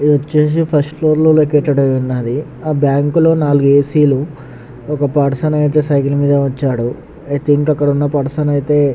ఇది వచేసి first floor లో లోకేటెడ్ అయిఉన్నది ఆ బ్యాంక్ లో నాలుగు ఏ సి లు ఒక పర్సన్ అయతె సైకిల్ మేధా వచ్చాడు. అయతె ఇంకక్కడున్నా పర్సన్ అయతె --